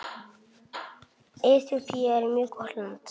Eþíópía er mjög gott land.